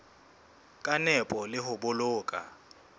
ka nepo le ho boloka